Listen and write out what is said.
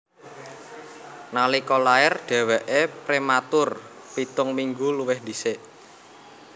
Nalika lair dhèwèké prématur pitung minggu luwih dhisik